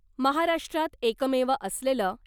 महाराष्ट्रात एकमेव असलेलं